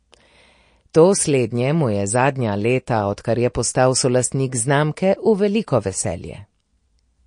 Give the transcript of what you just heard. To slednje mu je zadnja leta, odkar je postal solastnik znamke, v veliko veselje.